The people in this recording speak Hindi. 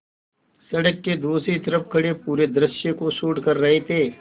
सड़क के दूसरी तरफ़ खड़े पूरे दृश्य को शूट कर रहे थे